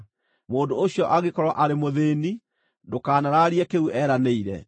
Mũndũ ũcio angĩkorwo arĩ mũthĩĩni, ndũkanaraarie kĩu eeranĩire.